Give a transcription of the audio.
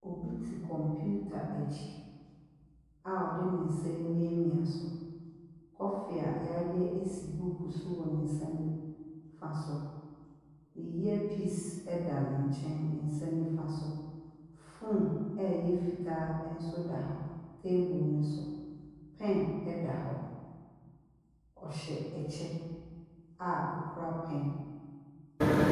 Obi te computer akyi a ɔde ne nsa remiamia so. Coffee a wɔayɛ si buku so wɔ ne nsa nifa so. Ne earpiece da ne nkyɛn, ne nsa nifa so. Phone a ɛyɛ fitaa nso da hɔ, table no so. Pen da hɔ. Ɔhyɛ kyɛ a ɔkura pɛn.